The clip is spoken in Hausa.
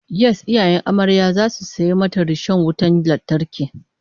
Yes, iyayen amaryar zasu saya mata rishon wutan lantarki